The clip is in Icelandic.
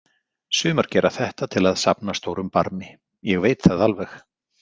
Sumar gera þetta til að safna stórum barmi, ég veit það alveg.